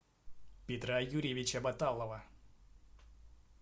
петра юрьевича боталова